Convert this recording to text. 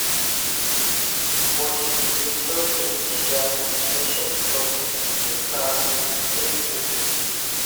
восемь девятьсот шестьдесят восемьсот пятнадцать тридцать